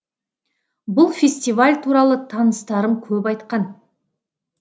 бұл фестиваль туралы таныстарым көп айтқан